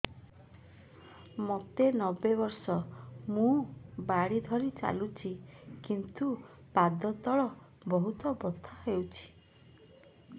ମୋତେ ନବେ ବର୍ଷ ମୁ ବାଡ଼ି ଧରି ଚାଲୁଚି କିନ୍ତୁ ପାଦ ତଳ ବହୁତ ବଥା ହଉଛି